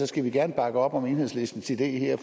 skal gerne bakke op om enhedslistens idé her